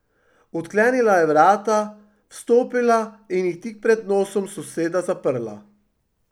Odklenila je vrata, vstopila in jih tik pred nosom soseda zaprla.